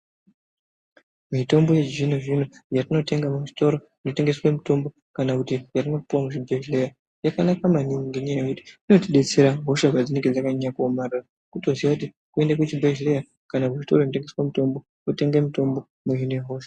Mitombo yechizvino zvino yatinotenga muzvitoro zvinotengeswa mitombo kana kuti yatinopiwa kuzvibhedhlera yakanaka manhingi ngenyaya yekuti inotidetsera hosha padzinenge pakanyanya kuomarara. Kutozive kuti kuende kuchibhedhlera kana kuti kuchitoro chinotengesa mitombo wotenge mutombo wodzinge hosha.